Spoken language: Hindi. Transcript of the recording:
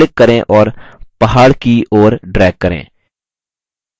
अब click करें और पहाड़ की ओर drag करें